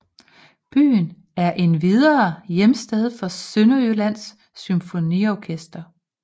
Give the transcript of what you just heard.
Byen er endvidere hjemsted for Sønderjyllands Symfoniorkester